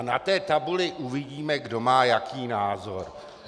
A na té tabuli uvidíme, kdo má jaký názor.